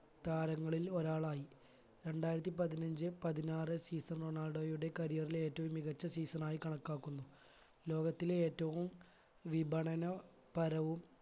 താരങ്ങളിൽ ഒരാളായി രണ്ടായിരത്തി പതിനഞ്ച്‌ പതിനാറ് season റൊണാൾഡോയുടെ career ലെ ഏറ്റവും മികച്ച season ആയി കണക്കാക്കുന്നു ലോകത്തിലെ ഏറ്റവും വിപണന പരവും